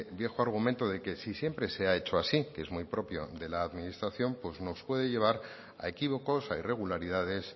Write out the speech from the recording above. viejo argumento de que si siempre se ha hecho así es muy propio de la administración pues nos puede llevar a equívocos a irregularidades